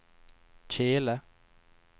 kjele